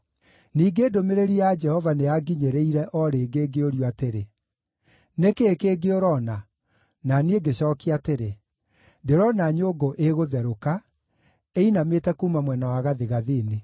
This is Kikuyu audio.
Ningĩ ndũmĩrĩri ya Jehova nĩyanginyĩrire o rĩngĩ ngĩũrio atĩrĩ: “Nĩ kĩĩ kĩngĩ ũrona?” Na niĩ ngĩcookia atĩrĩ, “Ndĩrona nyũngũ ĩgũtherũka, ĩinamĩte kuuma mwena wa gathigathini.”